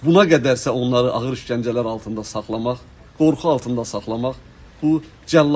Buna qədərsə onları ağır işgəncələr altında saxlamaq, qorxu altında saxlamaq bu cəllad hərəkətidir.